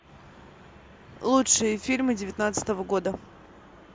лучшие фильмы девятнадцатого года